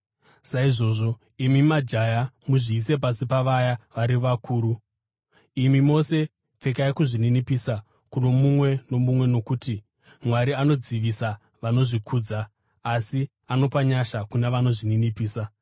Saizvozvo, imi majaya, muzviise pasi pavaya vari vakuru. Imi mose, pfekai kuzvininipisa kuno mumwe nomumwe, nokuti, “Mwari anodzivisa vanozvikudza asi anopa nyasha kuna vanozvininipisa.”